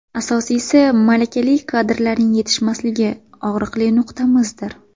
Asosiysi, malakali kadrlarning yetishmasligi og‘riqli nuqtamizdir.